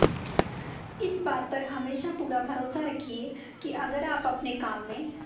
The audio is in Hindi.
इस बात पर हमेशा पूरा भरोसा रखिये की अगर आप अपने काम में